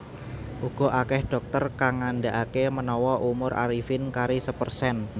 Uga akeh dhokter kang ngandakake menawa umur Arifin kari sepersen